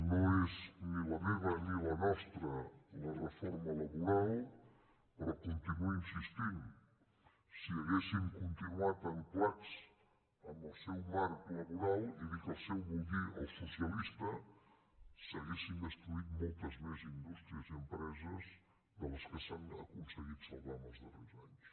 no és ni la meva ni la nostra la reforma laboral però hi continuo insistint si haguéssim continuat ancorats amb el seu marc laboral i dic el seu vull dir el socialista s’haurien destruït moltes més indústries i empreses de les que s’han aconseguit salvar en els darrers anys